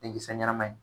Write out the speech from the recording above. Denkisɛ ɲɛnama ye